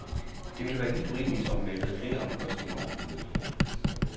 Det ville være helt urimeligt, om vi væltede flere omkostninger over på øboerne.